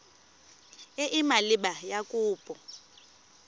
e e maleba ya kopo